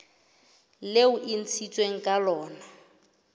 leo e ntshitsweng ka lona